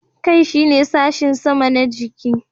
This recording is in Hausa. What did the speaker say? Kai shine sashin sama na jiki.